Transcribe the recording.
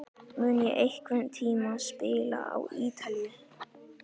Mun ég einhvern tíma spila á Ítalíu?